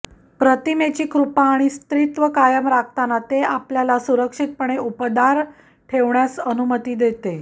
प्रतिमेची कृपा आणि स्त्रीत्व कायम राखताना ते आपल्याला सुरक्षितपणे उबदार ठेवण्यास अनुमती देते